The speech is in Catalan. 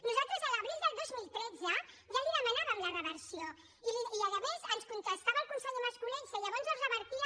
nosaltres a l’abril del dos mil tretze ja li demanaven la reversió i a més ens contestava el conseller mas colell si llavors es revertia